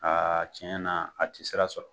tiɲɛ na a tɛ sira sɔrɔ.